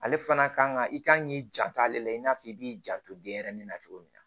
Ale fana kan ka i kan k'i janto ale la i n'a fɔ i b'i janto denyɛrɛnin na cogo min na